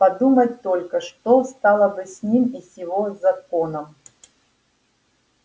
подумать только что стало бы с ним и с его законом